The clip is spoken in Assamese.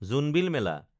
জোনবিল মেলা